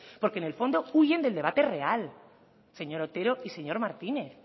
porque en el fondo huyen del debate real señor otero y señor martínez